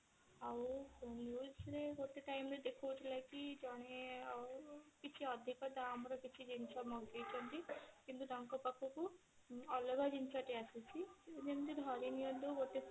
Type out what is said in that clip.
ଆଉ news ରେ ଗୋଟେ time ରେ ଦେଖଉଥିଲା କି ଜଣେ ଆଉ କିଛି ଅଧିକ ଦାମ ର କିଛି ଅଧିକ ଜିନିଷ ମଗେଇଛନ୍ତି କିନ୍ତୁ ତାଙ୍କ ପାଖକୁ ଅଲଗା ଜିନିଷ ଟି ଆସୁଛି ଯେମତି ଧରିନିଅନ୍ତୁ ଗୋଟେ